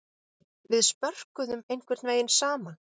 Við spörkuðum einhvern vegin saman.